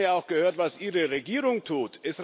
Ich hätte gerne auch gehört, was Ihre Regierung tut.